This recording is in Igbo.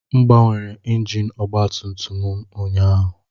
M gbanwere injin ọgba tum tum m ụnyaahụ